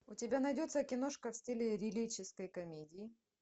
у тебя найдется киношка в стиле лирической комедии